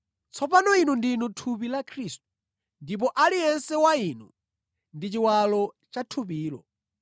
Tsopano inu ndinu thupi la Khristu, ndipo aliyense wa inu ndi chiwalo cha thupilo.